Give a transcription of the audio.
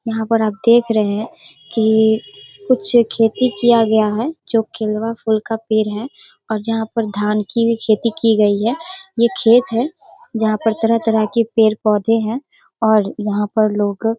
यहाँ पर आप देख रहे हैं की कुछ खेती किया गया है। जो केलवा फुल का पेड़ है और जहाँ पर धान की भी खेती की गई है ये खेत है। जहाँ पर तरह-तरह के पेड़-पोधे हैं। और यहाँ पर लोग --